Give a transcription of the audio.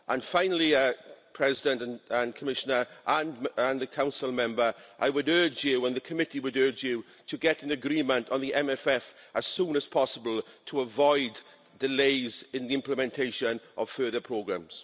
Finally, President, Commissioner and the Council member, I would urge you and the committee would urge you to get an agreement on the MFF as soon as possible to avoid delays in the implementation of further programmes.